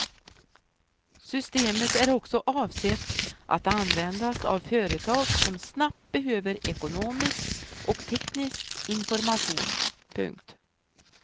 Systemet är också avsett att användas av företag som snabbt behöver ekonomisk och teknisk information. punkt